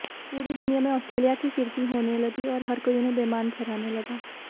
पूरी दुनिया में ऑस्ट्रेलिया की किरिकी होने लगी और हर कोई उन्हें बेईमान ठहराने लगा